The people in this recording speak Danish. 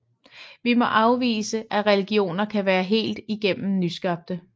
Vi må afvise at religioner kan være helt igennem nyskabte